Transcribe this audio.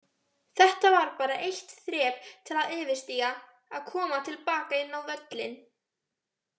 Þetta var bara eitt þrep til að yfirstíga, að koma til baka inn á völlinn.